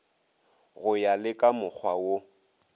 go ya le kamokgwa wo